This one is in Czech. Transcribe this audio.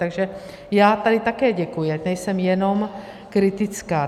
Takže já tady také děkuji, ať nejsem jenom kritická.